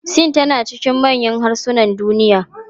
Sin tana cikin manyan harsunan duniya.